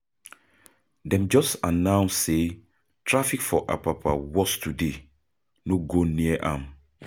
Dem just announce say traffic for Apapa worse today, no go near am.